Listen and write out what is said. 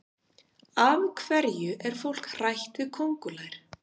Af hverju er fólk hrætt við köngulær?